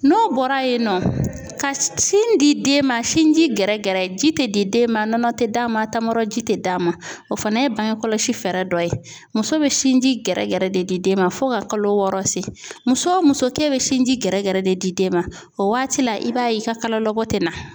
N'o bɔra yen nɔ ka sin di den ma sinji gɛrɛgɛrɛ ji tɛ di den ma nɔnɔ tɛ d'a ma a tamarɔji tɛ d'a ma o fana ye bange kɔlɔsi fɛɛrɛ dɔ ye muso bɛ sinji gɛrɛgɛrɛ de di den ma fo ka kalo wɔɔrɔ se muso o muso k'e bɛ sinji gɛrɛgɛrɛ de di den ma o waati la i b'a ye i ka kalolabɔ tɛ na.